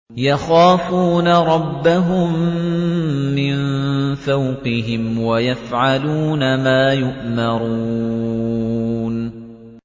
يَخَافُونَ رَبَّهُم مِّن فَوْقِهِمْ وَيَفْعَلُونَ مَا يُؤْمَرُونَ ۩